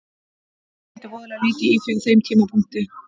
Ég pældi voðalega lítið í því á þeim tímapunkti.